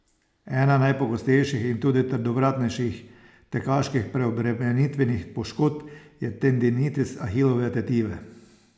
Ena najpogostejših in tudi trdovratnejših tekaških preobremenitvenih poškodb je tendinitis ahilove tetive.